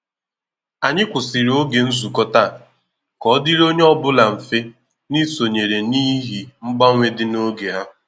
Ànyị kwụsịrị ògè nzukọ taa, ka ọ dịrị onye ọ bụla mfe n’ịsonyere n’ihi mgbanwe dị na oge ha.